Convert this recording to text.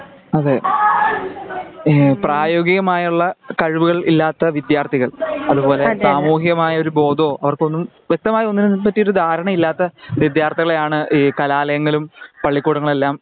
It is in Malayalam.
അതെ ഏ പ്രയോഗികമായുള്ള കഴിവുകൾ ഇല്ലാത്ത വിദ്ത്യാർത്ഥികൾ അതുപോലെ സാമൂഹികമായ ഒരു ബോതവോ അവർക്കൊന്നും വെക്തമായ ഒന്നിനെ പറ്റിയും ദാരണയില്ലാത്ത വിദ്ത്യാർത്ഥികളെയാണ് ഈ കലാലയങ്ങളും പള്ളിക്കൂടങ്ങളുമെല്ലാം